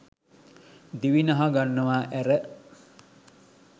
දිවි නහගන්නවා ඇර